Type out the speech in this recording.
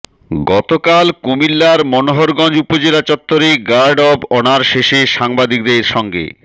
গতকাল কুমিল্লার মনোহরগঞ্জ উপজেলা চত্বরে গার্ড অব অনার শেষে সাংবাদিকদের সঙ্গে